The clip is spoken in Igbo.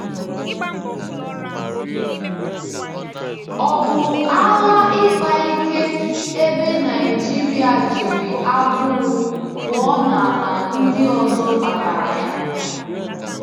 Ọ̀ bụ agha ịkpa ike ebe Naịjirịa jiri agụụ pụọ n’ala ndị ọzọ kpatara ya?